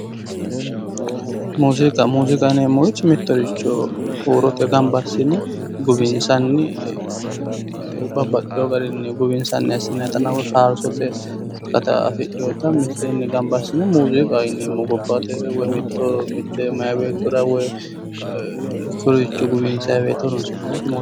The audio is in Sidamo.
Muziiqa, muziiqa yinneemmori mittoricho huurotenni gamba assine guwinsanni babbaxeyo garinni guwinsanni woyi faarsotenni akkatta afidhiotta miteeni gamba assine muziiqaho yinneemmo, woyi mite maayi beettora guwinsara horonsi'nanniha